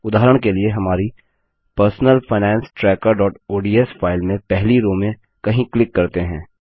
उदाहरण के लिए हमारी पर्सनल फाइनेंस trackerओडीएस फाइल में पहली रो में कहीं क्लिक करते हैं